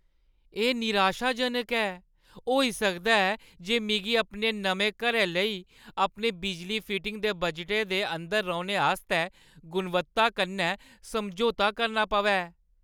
एह् निराशाजनक ऐ, होई सकदा ऐ जे मिगी अपने नमें घरै लेई अपने बिजली फिटिंग दे बजटै दे अंदर रौह्‌ने आस्तै गुणवत्ता कन्नै समझौता करना पवै।